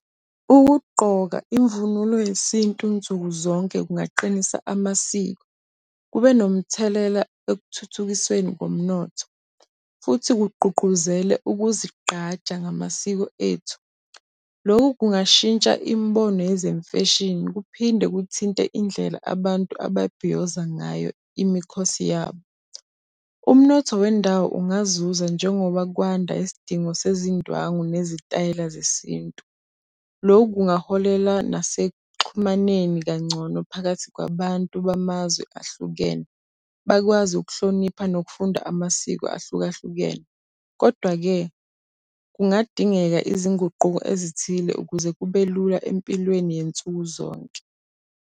Ukugqoka imvunulo yesintu nsuku zonke kungaqinisa amasiko, kube nomthelela ekuthuthukisweni komnotho. Futhi kugqugquzele ukuzigqaja ngamasiko ethu. Loku kungashintsha imibono yezimfeshini kuphinde kuthinte indlela abantu ababhiyoza ngayo imikhosi yabo. Umnotho wendawo ungazuza njengoba kwanda isidingo sezindwangu nezitayela zesintu. Lokhu kungaholela nasekuxhumaneni kangcono phakathi kwabantu bamazwe ahlukene, bakwazi ukuhlonipha nokufunda amasiko ahlukahlukene. Kodwa-ke kungadingeka izinguquko ezithile ukuze kube lula empilweni yansuku zonke.